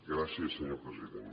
gràcies senyor president